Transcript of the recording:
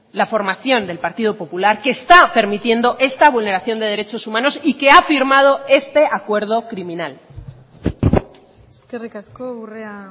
la formación del partido popular que está permitiendo esta vulneración de derechos humanos y que ha firmado este acuerdo criminal eskerrik asko urrea